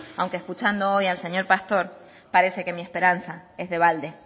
aunque escuchando hoy al señor pastor parece que mi esperanza es de balde